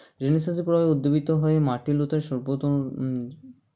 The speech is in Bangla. Renaissance -এর প্রভাবে উদ্দিবীত হয়ে মার্টিন লুথার-এর সর্বপ্রথম হুম